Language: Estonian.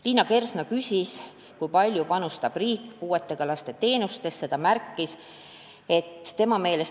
Liina Kersna küsis, kui palju panustab riik puuetega lastele osutatavatesse teenustesse.